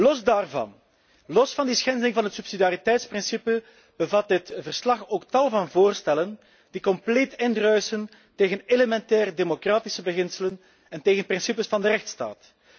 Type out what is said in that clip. Los daarvan, los van de schending van het subsidiariteitsbeginsel, bevat dit verslag ook tal van voorstellen die compleet indruisen tegen elementaire democratische beginselen en tegen principes van de rechtsstaat.